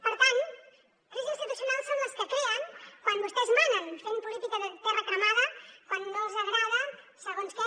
per tant crisis institucionals són les que creen quan vostès manen fent política de terra cremada quan no els agrada segons què